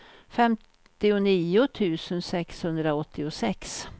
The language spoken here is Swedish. femtionio tusen sexhundraåttiosex